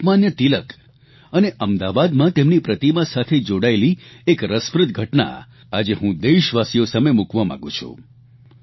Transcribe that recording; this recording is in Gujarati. લોકમાન્ય તિલક અને અમદાવાદમાં તેમની પ્રતિમા સાથે જોડાયેલી એક રસપ્રદ ઘટના આજે હું દેશવાસીઓ સામે મૂકવા માંગું છું